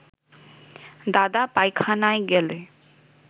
দাদা পায়খানায় গেলে